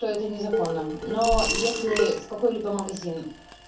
то это незаконно но если в какой-либо магазин